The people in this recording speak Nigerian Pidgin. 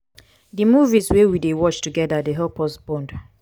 di movies wey we dey watch togeda dey help us bond.